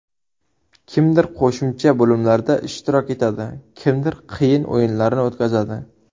Kimdir qo‘shimcha bo‘limlarda ishtirok etadi, kimdir qiyin o‘yinlarni o‘tkazadi.